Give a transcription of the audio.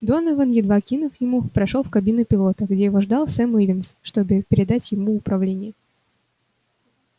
донован едва кивнув ему прошёл в кабину пилота где его ждал сэм ивенс чтобы передать ему управление